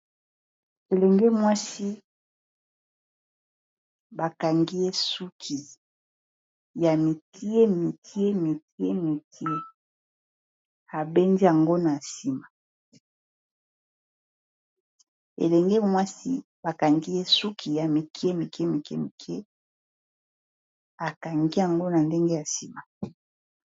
Elenge mwasi ba kangi ye suki, ya mike mike mike mike abendi yango na ndenge ya nsima.